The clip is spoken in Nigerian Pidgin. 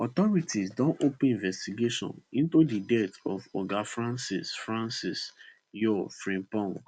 authorities don open investigation into di death of oga francis francis yaw frimpong